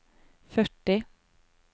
førti